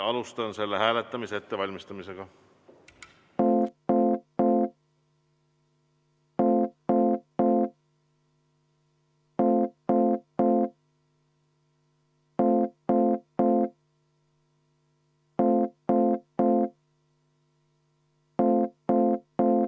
Alustan selle hääletamise ettevalmistamist.